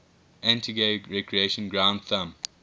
antigua recreation ground thumb